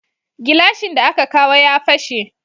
Gilashin da aka kawo ya fashe